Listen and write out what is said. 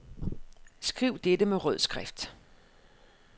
Skriv dette med rød skrift.